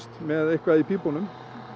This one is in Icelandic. með eitthvað í pípunum